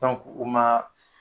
u maa